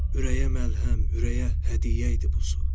Ürəyə məlhəm, ürəyə hədiyyə idi bu su.